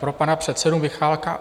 Pro pana předsedu Michálka.